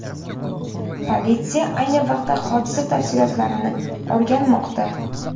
Politsiya ayni vaqtda hodisa tafsilotlarini o‘rganmoqda.